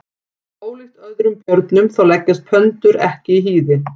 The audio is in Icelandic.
Ólíkt öðrum björnum þá leggjast pöndur ekki í hýði.